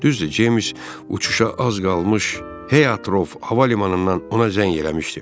Düzdür, Ceyms uçuşa az qalmış Heathrow hava limanından ona zəng eləmişdi.